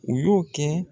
U y'o kɛ